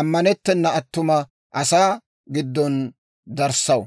ammanettena attuma asaa asaa giddon darissaw.